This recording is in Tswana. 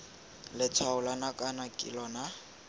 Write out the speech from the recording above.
letshwao la nakwana ke lona